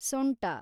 ಸೊಂಟ